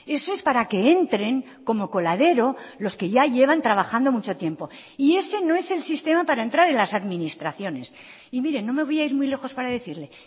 eso es para que entren como coladero los que ya llevan trabajando mucho tiempo y ese no es el sistema para entrar en las administraciones y mire no me voy a ir muy lejos para decirle